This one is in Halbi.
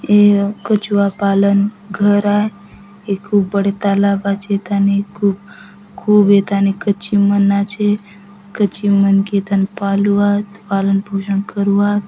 ये कछुआ पालन घर आय ये खूब बड़े तालाब आचे एथाने खूब खूब एथाने कचिम मन आचे कचिम मन के एथाने पालु आत पालन पोषण करूआत।